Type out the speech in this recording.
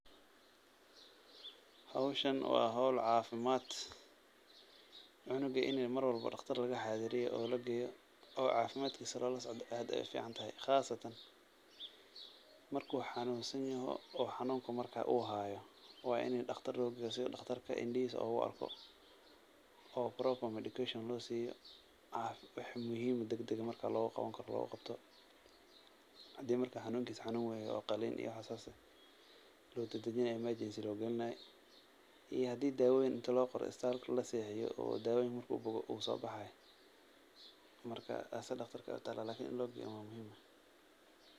Howshan waa howl cafimaad, cunuga in mar walbo daqtar laga xaadiriyo oo lageeyo oo cafimaadkiisa lala socdo aad ayeey ufican tahay, qaasatan, marki uu xanuun san yoho oo xanuunka markaa uu haayo, waa in daqtar loo geeyo, si daqtarka indihiisa ugu arko oo proper medication loo siiyo, wax muhiim dagdag markaa looga qaban karo looga qabto, hadii markaa xanuunkiisa xanuun weyn yoho oo qaliin iyo waxaas loo dadijinaay emergency loo galinaayo, iyo hadii dawooyin inti loo qoro isbitaalka laseexiyo oo daawoyiinka marki uu boogo uu soo baxaay, taas daqtarka ayeey utaala lakin in loo geeyo ayaa muhiim ah.